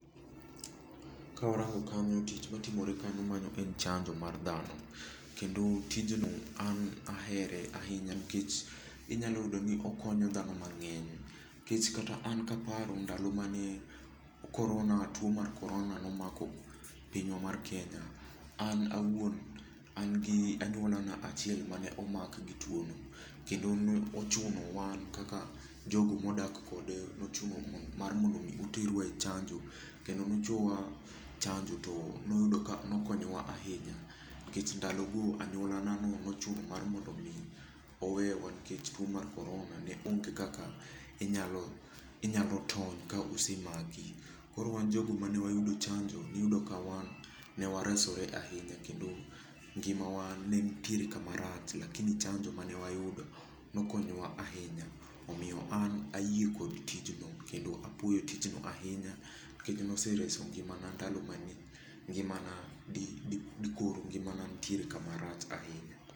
Kawarango kanyo tich matimore kanyo mano en chanjo mar dhano. Kendo tij no an ahere ahinya nikech inyalo yudo ni okonyo dhano mang'eny. Nikech kata an kaparo ndalo mane korona, tuo mar korona nomako pinywa mar Kenya, an awuon, an gi anyuola na achiel mane omak gi tuo no. Kendo ne ochuno wan kaka jogo modak kode, nochuno mar mondo mi oterwa e chanjo. Kendo noterwa e chanjo to noyudo ka nokonyo wa ahinya. Nikech ndalo go anyuola na no nochuno mar mondo mi owe wa nikech tuo mar korona ne onge kaka inyalo tony ka osemaki. Koro wan jogo mane wayudo chanjo iyudo ka wan ne waresore ahinya kendo ngima wa ne nitiere kama rach lakini chanjo mane wayudo nokonyo wa ahinya. Omiyo an ayie kod tijno, kendo apuoyo tijno ahinya nikech nose reso ngimana ndalo mane, ngima na di koro ngimana nitere kama rach ahinya.